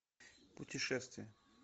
путешествия